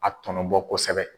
A tɔnɔbɔ kosɛbɛ.